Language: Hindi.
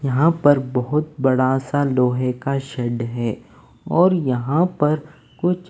यहां पर बहुत बड़ा सा लोहे का शेड है और यहां पर कुछ--